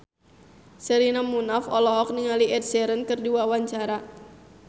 Sherina Munaf olohok ningali Ed Sheeran keur diwawancara